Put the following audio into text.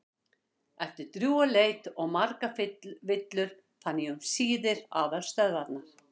Eftir drjúga leit og margar villur fann ég um síðir aðalstöðvar